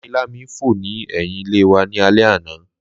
Lámilámi fò ni ẹhin ile wa ni alẹ ana.